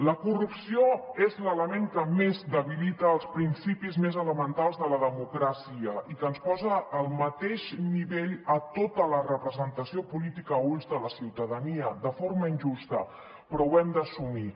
la corrupció és l’element que més debilita els principis més elementals de la democràcia i que ens posa al mateix nivell a tota la representació política a ulls de la ciutadania de forma injusta però ho hem d’assumir